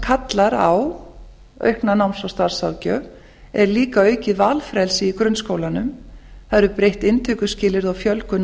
kallar á aukna náms og starfsráðgjöf er líka aukið valfrelsi í grunnskólanum það eru breytt inntökuskilyrði og fjölgun